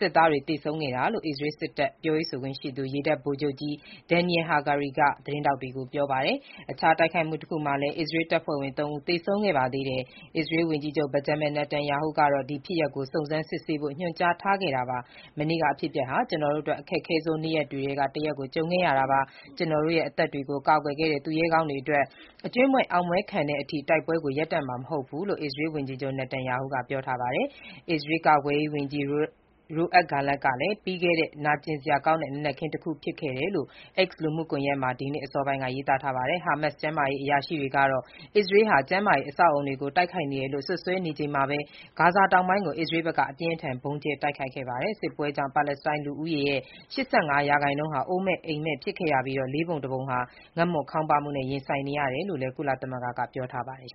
စစ်သားတွေ သေဆုံးခဲ့တာလို့အစ္စရေးစစ်တပ် ပြောရေးဆိုခွင့်ရှိသူ ရေတပ်ဗိုလ်ချုပ်ကြီး Daniel Hagari (ဒယ်နီရယ် ဟာဂါရီ) က သတင်းထောက်တွေကို ပြောပါတယ်။ အခြားတိုက်ခိုက်မှုတခုမှာလည်း အစ္စရေးတပ်ဖွဲ့ဝင် သုံးဦး သေဆုံးခဲ့ပါသေးတယ်။ အစ္စရေးဝန်ကြီးချုပ် ဘင်ဂျမင်နေတန်ယာဟုကတော့ ဒီဖြစ်ရပ်ကို စုံစမ်းစစ်ဆေးဖို့ ညွှန်ကြားခဲ့တာပါ။ "မနေ့က အဖြစ်အပျက်ဟာ ကျနော်တို့အတွက် အခက်ခဲဆုံးနေ့တွေထဲက တရက်ကို ကြုံခဲ့ရတာပါ။ ကျတော်တို့ရဲ့ အသက်တွေကို ကာကွယ်ခဲ့တဲ့ သူရဲကောင်းတွေအတွက် အကြွင်းမဲ့အောင်ပွဲခံတဲ့အထိ တိုက်ပွဲကိုရပ်တန့်မှာ မဟုတ်ဘူး"လို့လည်း အစ္စရေးဝန်ကြီးချုပ်နေတန်ယာဟုက ပြောပါတယ်။ အစ္စရေးကာကွယ်ရေးဝန်ကြီး Yoav Gallant ကလည်း ခက်ခဲပြီး နာကျင်စရာကောင်းတဲ့ နံနက်ခင်းတခုဖြစ်တယ်လို့ X လူမှုကွန်ယက်မှာ ဒီနေ့ အစောပိုင်းက ရေးသားခဲ့ပါတယ်။ ဟာမတ်စ်ကျန်းမာရေးအရာရှိတွေက အစ္စရေးဟာ ကျန်းမာရေး အဆောက်အအုံတွေကို တိုက်ခိုက်နေတယ်လို့ စွပ်စွဲနေချိန်မှာပဲ ဂါဇာတောင်ပိုင်းကို အစ္စရေးဘက်က အပြင်းအထန် ဗုံးကြဲတိုက်ခိုက်ခဲ့ပါတယ်။ စစ်ပွဲကြောင့် ပါလက်စတိုင်း လူဦးရေရဲ့ ၈၅ ရာခိုင်နှုန်းဟာ အိုးမဲ့ အိမ်မဲ့ဖြစ်ခဲ့ရပြီး လေးပုံတစ်ပုံဟာ ငတ်မွတ်ခေါင်းပါးမှုနဲ့ ရင်ဆိုင်နေရတယ်လို့လည်း ကုလသမဂ္ဂက ပြောပါတယ်